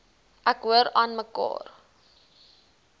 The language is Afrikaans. ek hoor aanmekaar